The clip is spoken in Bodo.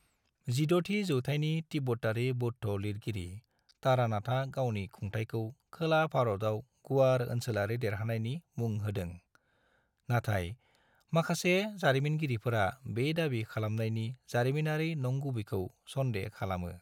16थि जौथाइनि तिब्बतारि बौद्ध लिरगिरि तारानाथआ गावनि खुंथाइखौ खोला भारतआव गुवार ओनसोलारि देरहानायनि मुं होदों, नाथाइ माखासे जारिमिनगिरिफोरा बे दाबि खालामनायनि जारिमिनारि नंगुबैखौ सन्देह खालामो।